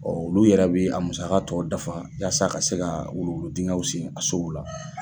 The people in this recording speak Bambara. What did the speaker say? Bɔn olu yɛrɛ bɛ a musakaw tɔ dafa walasa ka se ka wuluwulu dingɛnw senni a sow la.